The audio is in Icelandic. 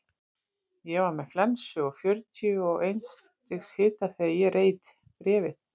Ég var með flensu og fjörutíu og eins stigs hita þegar ég reit bréfið.